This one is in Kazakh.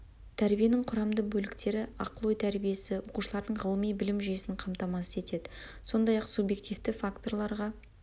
тәрбиенің құрамды бөліктері ақыл ой тәрбиесі оқушылардың ғылыми білім жүйесін қамтамасыз етеді сондай ақ субъективті факторларға